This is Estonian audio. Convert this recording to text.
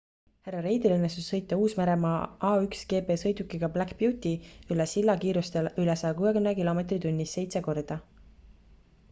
hr reidil õnnestus sõita uus-meremaa a1gp-sõidukiga black beauty üle silla kiirustel üle 160 km/h seitse korda